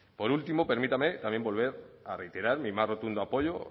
por último permítame también volver a reiterar mi más rotundo apoyo